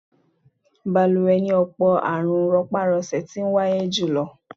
Balùwẹ̀ ni ọ̀pọ̀ àrùn rọpá-rọsẹ̀ ti wáyé jùlọ.